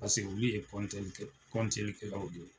Paseke olu ye kɔnteikɛlaw de ye.